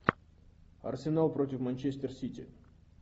арсенал против манчестер сити